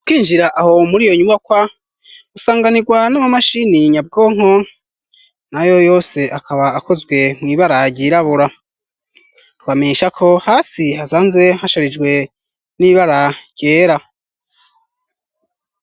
kwinjira aho muri iyo nyubakwa usanganirwa n'ama mashini nyabwonko na yo yose akaba akozwe mwibara ryirabura rwamesha ko hasi hasanzwe hasharijwe n'ibara ryera.